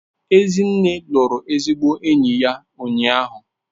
Ezinne lụrụ ezigbo enyi ya ụnyahụ.